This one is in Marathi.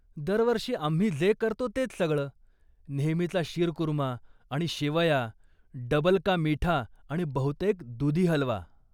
दरवर्षी आम्ही जे करतो तेच सगळं, नेहमीचा शीरकूर्मा आणि शेवया, डबल का मीठा आणि बहुतेक दूधी हलवा.